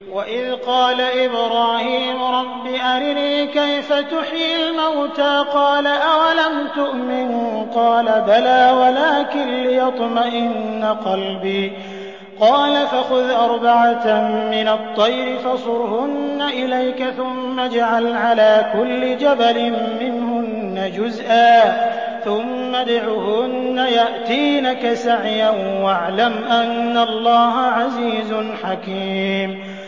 وَإِذْ قَالَ إِبْرَاهِيمُ رَبِّ أَرِنِي كَيْفَ تُحْيِي الْمَوْتَىٰ ۖ قَالَ أَوَلَمْ تُؤْمِن ۖ قَالَ بَلَىٰ وَلَٰكِن لِّيَطْمَئِنَّ قَلْبِي ۖ قَالَ فَخُذْ أَرْبَعَةً مِّنَ الطَّيْرِ فَصُرْهُنَّ إِلَيْكَ ثُمَّ اجْعَلْ عَلَىٰ كُلِّ جَبَلٍ مِّنْهُنَّ جُزْءًا ثُمَّ ادْعُهُنَّ يَأْتِينَكَ سَعْيًا ۚ وَاعْلَمْ أَنَّ اللَّهَ عَزِيزٌ حَكِيمٌ